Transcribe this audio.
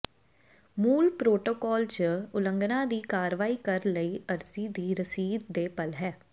ਮੂਲ ਪਰੋਟੋਕਾਲ ਜ ਉਲੰਘਣਾ ਦੀ ਕਾਰਵਾਈ ਕਰ ਲਈ ਅਰਜ਼ੀ ਦੀ ਰਸੀਦ ਦੇ ਪਲ ਹੈ